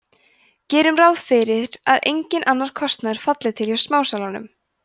gerum ráð fyrir að enginn annar kostnaður falli til hjá smásalanum